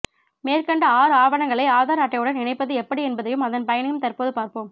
மேற்கண்ட ஆறு ஆவணங்களை ஆதார் அட்டையுடன் இணைப்பது எப்படி என்பதையும் அதன் பயனையும் தற்போது பார்ப்போம்